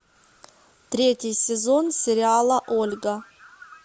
третий сезон сериала ольга